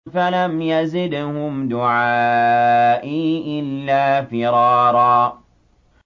فَلَمْ يَزِدْهُمْ دُعَائِي إِلَّا فِرَارًا